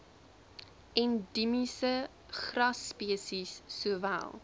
endiemiese grasspesies sowel